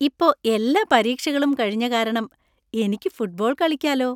ഇപ്പോ എല്ലാ പരീക്ഷകളും കഴിഞ്ഞ കാരണം എനിക്ക് ഫുട്ബോൾ കളിക്കാലോ.